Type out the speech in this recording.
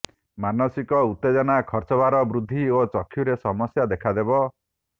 ମାନସିକ ଉତ୍ତେଜନା ଖର୍ଚ୍ଚଭାର ବୃଦ୍ଧି ଓ ଚକ୍ଷୁରେ ସମସ୍ୟା ଦେଖାଦେବ